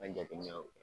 An jateminɛw